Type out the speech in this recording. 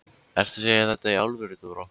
Ertu að segja þetta í alvöru, Dóra?